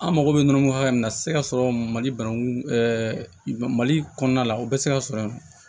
An mago bɛ nɔnɔko hakɛ min na a tɛ se ka sɔrɔ mali banangun mali kɔnɔna la o bɛ se ka sɔrɔ